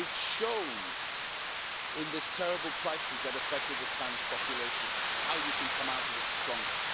You have shown in this terrible crisis that affected the Spanish population how you can come out of it stronger.